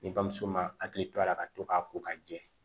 Ni bamuso ma hakili to a la ka to k'a ko ka jɛ